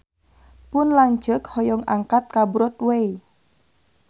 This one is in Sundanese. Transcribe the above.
Pun lanceuk hoyong angkat ka Broadway